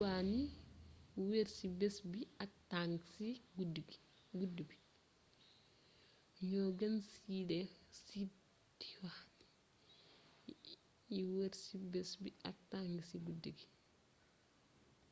ño gene seed diwaan yi wër ci bés bi ak tang ci guddi bi